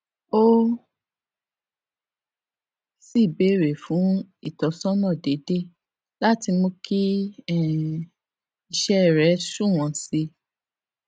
ó sì béèrè fún ìtósónà déédéé láti mú kí um iṣé rè sunwòn sí i